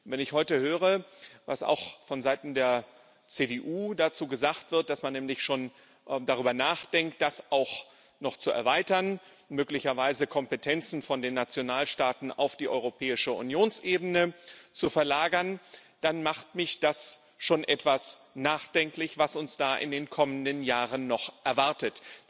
Wenn ich heute höre, was auch von Seiten der CDU dazu gesagt wird, dass man nämlich schon darüber nachdenkt, das auch noch zu erweitern, möglicherweise Kompetenzen von den Nationalstaaten auf die Unionsebene zu verlagern, dann macht mich das schon etwas nachdenklich, was uns da in den kommenden Jahren noch erwartet.